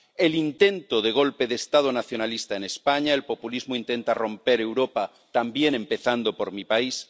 el intento de golpe de Estado nacionalista en España —el populismo intenta romper Europa también, empezando por mi país—.